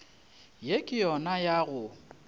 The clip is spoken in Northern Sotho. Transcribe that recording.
ye ke yona ya go